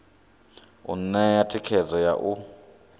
u ṋea thikhedzo ya u